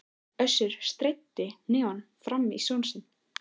Össur steytti hnefa framan í son sinn.